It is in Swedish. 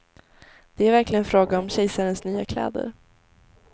Det är verkligen fråga om kejsarens nya kläder.